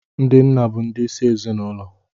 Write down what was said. Ndi nna bụ ndị ịsị n' ezinaụlọ